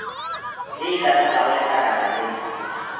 ye e ka tlalago letlakalale